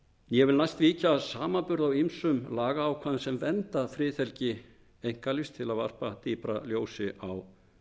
ég vil næst víkja að samanburði á ýmsum lagaákvæðum sem vernda friðhelgi einkalífs til að varpa dýpra ljósi á